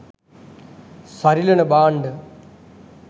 සරිලන භාණ්ඩ